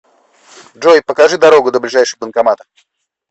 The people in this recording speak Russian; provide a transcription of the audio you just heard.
джой покажи дорогу до ближайшего банкомата